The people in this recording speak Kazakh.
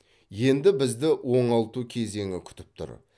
енді бізді оңалту кезеңі күтіп тұр